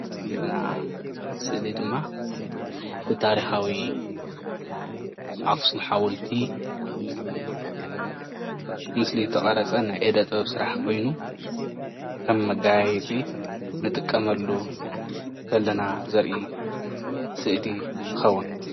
እዛ እንሪአ ስእሊ ድማ ብታሪካዊ ኣክሱም ሓወልቲ ምስሊ ዝተቀረፀ ናይ ኢደ ጥበብ ስራሕቲ ኮይኑ ከም መጋያየፂ እንጥቀመሉ ከለና ዘርኢ ስእሊ ትከውን፡፡